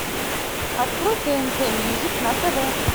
открой тнт мьюзик на тв